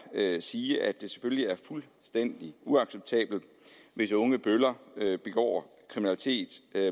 sige at det selvfølgelig er fuldstændig uacceptabelt hvis unge bøller begår kriminalitet